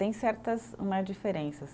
Tem certas né diferenças.